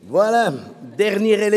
Kommissionssprecher